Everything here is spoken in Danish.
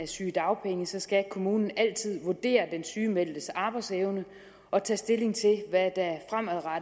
sygedagpenge skal kommunen altid vurdere den sygemeldtes arbejdsevne og tage stilling til hvad